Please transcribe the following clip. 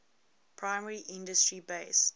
primary industry based